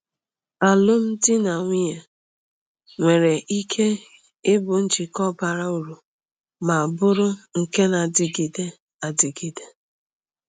Alụmdi na nwunye nwere ike ịbụ njikọ bara uru ma bụrụ nke na-adịgide adịgide.